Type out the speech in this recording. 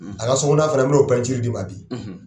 A ka sogo'nɔna fana n bɛnɔ d'i ma bi.